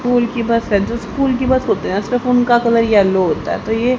school की bus है जो स्कूल की बस होते है सिर्फ उनका कलर सिर्फ येलो होता है तो ये --